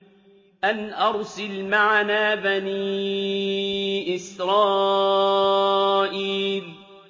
أَنْ أَرْسِلْ مَعَنَا بَنِي إِسْرَائِيلَ